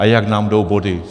A jak nám jdou body?